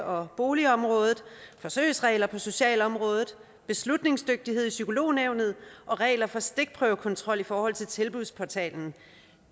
og boligområdet forsøgsregler på socialområdet beslutningsdygtighed i psykolognævnet og regler for stikprøvekontrol i forhold til tilbudsportalen